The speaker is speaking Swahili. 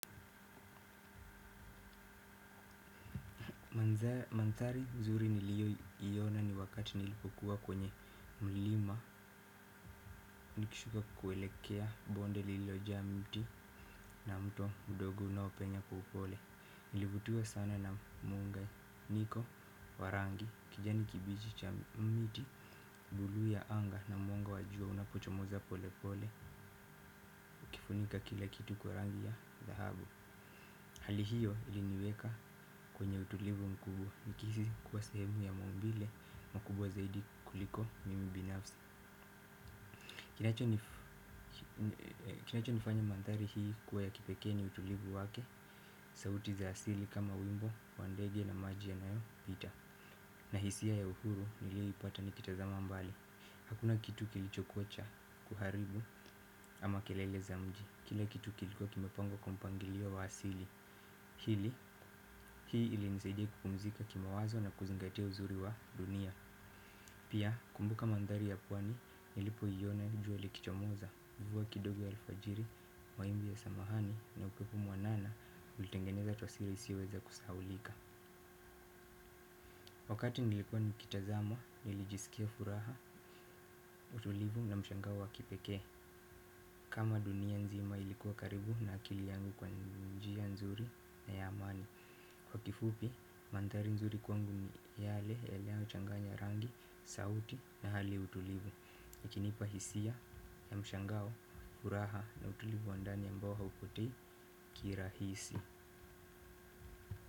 Mandhari nzuri nilioyiona ni wakati nilipokuwa kwenye mlima nikishuka kuelekea bonde lilojaa miti na mto mdogo unaopenya kwa upole. Nilivutiwa sana na muunganiko wa rangi kijani kibichi cha miti bluu ya anga na mwanga wa jua unapochomoza pole pole ukifunika kila kitu kwa rangi ya dhahabu. Hali hiyo iliniweka kwenye utulivu mkubwa nikihisi kuwa sehemu ya maumbile makubwa zaidi kuliko mimi binafsi. Kinacho nifanya mandhari hii kuwa ya kipekee ni utulivu wake sauti za asili kama wimbo wa ndege na maji yanayopita. Na hisia ya uhuru niliyeipata nikitazama mbali hakuna kitu kilichokuwa cha kuharibu ama kelele za mji. Kila kitu kilikuwa kimepangaliwa kwa mpangilio wa asili hii ili nisaidiia kupumzika kimawazo na kuzingatia uzuri wa dunia. Pia, kumbuka mandhari ya pwani, nilipoiona jua likichomoza mvua kidogo ya alfajiri, mawimbi ya samahani na upepo mwanana. Ulitengeneza taswira isiyoweza kusahaulika. Wakati nilikuwa nikitazama, nilijisikia furaha, utulivu na mshangao wa wa kipekee. Kama dunia nzima ilikuwa karibu na akili yangu kwa njia nzuri na ya amani. Kwa kifupi, mandhari nzuri kwangu ni yale, yale yanayochanganya rangi, sauti na hali utulivu ikinipa hisia ya mshangao, furaha na utulivu wa ndani ambao haupotei kirahisi.